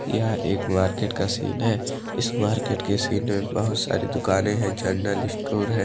यह एक मार्केट का सीन है इस मार्केट के सीन में बहोत सारी दुकानें है जनरल स्टोर है।